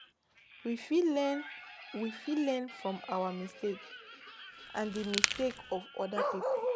We fit learn We fit learn from our mistakes and di mistakes of oda pipo